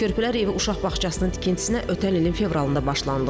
Körpələr evi uşaq bağçasının tikintisinə ötən ilin fevralında başlanılıb.